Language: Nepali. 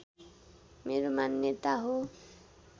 मेरो मान्यता हो